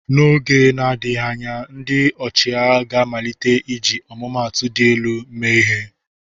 N'oge na-adịghị anya, ndị ọchịagha ga-amalite iji atụmatụ dị elu mee ihe.